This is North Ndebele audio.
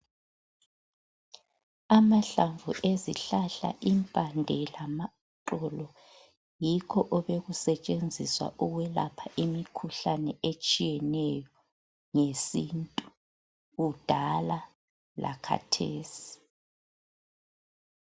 Amahlamvu ezihlahla impande lamaxolo yikho obekusetshenziswa ukwelapha imikhuhlane etshiyeneyo ngesintu kudala lakhathesi.